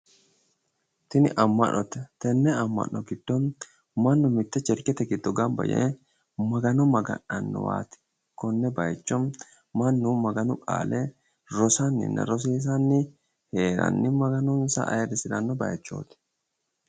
Tini ama'note tenne ama'note giddo mannu mitte cherchete giddo gamiba yee Magano maga'nanowaati konne baaycho mannu maganu qaale rosannina rosiisani heeranni Maganonsa ayrisiranno baychooti